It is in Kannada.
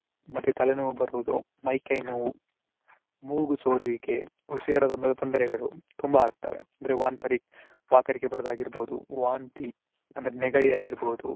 ಮತ್ತೆ ತಲೆನೋವು ಬರುವುದು ಮೈ ಕೈ ನೋವು ಮೂಗು ಸೋರುವಿಕೆ ಉಸಿರಾಟದ ತೊಂದರೆಗಳು ತುಂಬಾ ಆಗ್ತವೆ ಅಂದ್ರೆ ವಾಂತರಿ~ ವಾಕರಿಕೆ ಬರುವಾಗಿರುವುದು ವಾಂತಿ ಅಂದ್ರೆ ನೆಗಡಿಯಾಗಿರಬಹುದು.